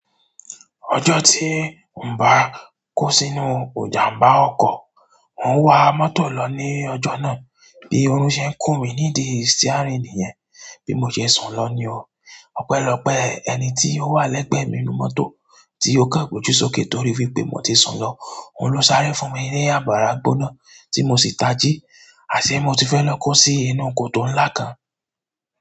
Ọjọ́ tí mi o bá kó sínú ìjàmbá ọkọ̀, mo ń wa mọ́tò lọ ní ọjọ́ náà bí ọ̀run ṣẹ kùn mí ní di stíárìn nìyẹn, bí mo ṣe sùn lọ ní o. Ọpẹ́lọpẹ́ ẹni tí ó wà lẹ́gbẹ̀ẹ́ mi nínú mọ́tò tí ó kan gboju sókè to rí wípé mo ti sun lọ, òun ló sáré fún mi ní àbàrá gbóná tí mo sì tají, àṣẹ mo ti fẹ́ lọ kó sí inú kotó ńlá kan.